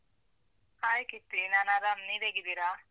Hai Keerthi. ನಾನ್ ಆರಾಮ್ ನೀವ್ ಹೇಗಿದ್ದೀರಾ?